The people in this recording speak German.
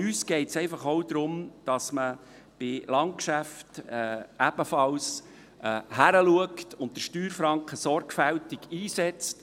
Aber uns von der SP geht es einfach auch darum, dass man bei Landgeschäften ebenfalls hinschaut und den Steuerfranken sorgfältig einsetzt.